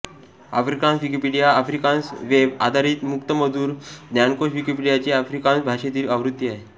Afrikaans Wikipedia Afrikaans web आधारित मुक्तमजकूर ज्ञानकोश विकिपीडियाची आफ्रिकान्स भाषेतील आवृत्ती आहे